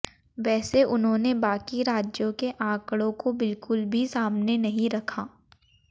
वैसे उन्होंने बाकी राज्यों के आंकड़ों को बिल्कुल भी सामने नहीं रखा